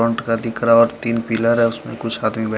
front का दिख रहा है और तिन पिलर है उसपे कुछ आदमी बैठे --